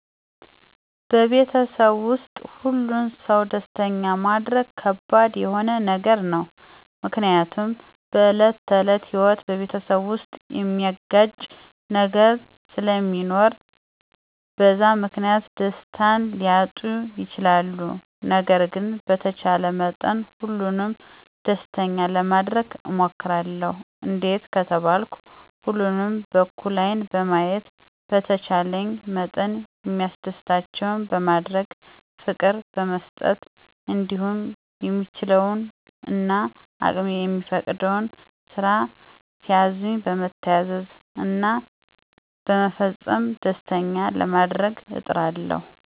በቤተሰብ ዉስጥ ሁሉን ሰው ደስተኛ ማረግ ከባድ የሆነ ነገር ነው፤ ምክንያቱም በዕለት ተዕለት ህይወት በቤተሰብ ዉስጥ ሚያጋጭ ነገር ስለሚኖር በዛ ምክንያት ደስታን ሊያጡ ይችላሉ። ነገር ግን በተቻለ መጠን ሁሉንም ደስተኛ ለማረግ እሞክራለሁ፤ እንዴት ከተባልኩ ሁሉንም በእኩል ዐይን በማየት፣ በተቻለኝ መጠን ሚያስደስታቸውን በማድረግ፣ ፍቅር በመስጠት እንዲሁም የምችለው እና አቅሜ የሚፈቅደውን ስራ ሲያዙኝ በመታዘዝ እና በመፈጸም ደስተኛ ለማረግ እጥራለሁ።